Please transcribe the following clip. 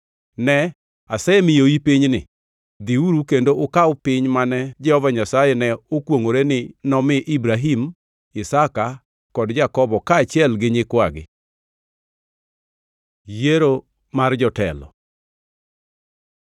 Ne, asemiyoi pinyni. Dhiuru kendo ukaw piny mane Jehova Nyasaye ne okwongʼore ni nomi Ibrahim, Isaka kod Jakobo kaachiel gi nyikwagi.” Yiero mar jotelo